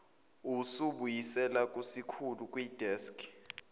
usibuyisela kusikhulu kwideski